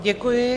Děkuji.